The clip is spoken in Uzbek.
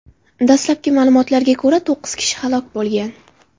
Dastalabki ma’lumotlarga ko‘ra, to‘qqiz kishi halok bo‘lgan.